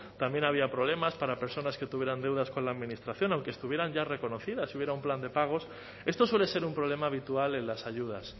también había problemas para personas que tuvieran deudas con la administración aunque estuvieran ya reconocidas y hubiera un plan de pagos esto suele ser un problema habitual en las ayudas